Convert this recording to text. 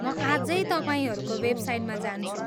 म आजै तपाईँहरूको वेबसाइटमा जान्छु।